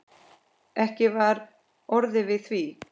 Ekki var orðið við því.